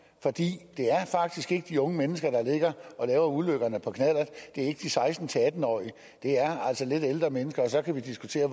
for det er faktisk ikke de unge mennesker der ligger og laver ulykkerne på knallert det er ikke de seksten til atten årige det er altså lidt ældre mennesker og så kan vi diskutere